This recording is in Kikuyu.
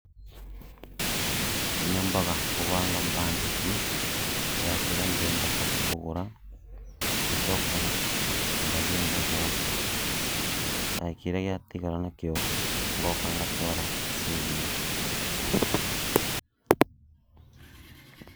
Nyambaga kũvaanga mbanjeti ya kĩrĩa ndĩrenda kũthi kũgũra, ngacoka ngathii ngagũra na kĩrĩa gĩatigara nakĩo ngoka ngatwara saving.